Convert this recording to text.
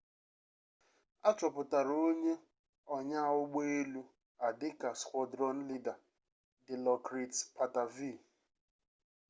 achọpụtara onye onyaa ụgbọ elu a dịka squadron leader dilokrit pattavee